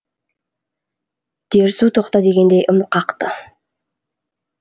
дерсу тоқта дегендей ым қақты